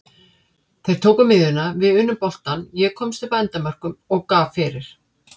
Þeir tóku miðjuna, við unnum boltann, ég komst upp að endamörkum og gaf fyrir.